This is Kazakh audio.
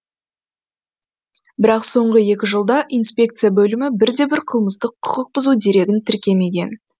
бірақ соңғы екі жылда инспекция бөлімі бірде бір қылмыстық құқықбұзу дерегін тіркемеген